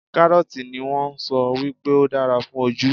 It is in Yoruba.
Kárọ́ọ̀tì ni wón sọ wípé ó dára fún ojú.